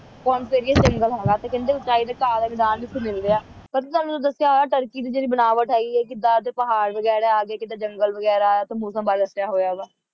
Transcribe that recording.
coniferous ਜੰਗਲ ਹੋਣਾ ਤੇ ਕਹਿੰਦੇ ਉਚਾਈ ਦੇ ਕਾਰਨ ਨਾਲ ਰਾਹ ਨਹੀਂ ਸੀ ਮਿਲ ਰਿਹਾ ਪਤਾ ਤੁਹਾਨੂੰ ਦੱਸਿਆ ਹੋਇਆ ਤਰੱਕੀ ਦੀ ਜਿਹੜੀ ਬਣਾਈ ਹੈਗੀ ਆ ਕਿੱਦਾਂ ਅੱਧੇ ਪਹਾੜ ਹੈਗੇ ਆ ਕਿੱਦਾਂ ਓਥੇ ਜੰਗਲ ਵਗੈਰਾ ਤੇ ਮੌਸਮ ਬਾਰੇ ਦੱਸਿਆ ਹੋਇਆ ਹੈਗਾ